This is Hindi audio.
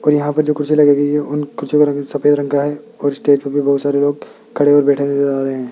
और यहां पर जो कुर्सी लगाई गई है उन कुर्सियों का रंग सफेद रंग का है और स्टेज पर भी बहुत सारे लोग खड़े और बैठे हुए नजर आ रहे है।